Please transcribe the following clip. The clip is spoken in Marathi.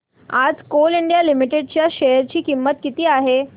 आज कोल इंडिया लिमिटेड च्या शेअर ची किंमत किती आहे